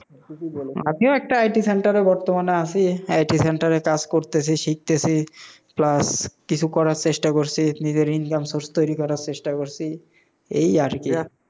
আমিও একটা ITcenter এ বর্তমানে আসি, IT center -এ কাজ করতেসি, শিখতেসি, plus কিছু করার চেষ্টা করসি নিজের income source তৈরি করা চেষ্টা করসি, এই আর কি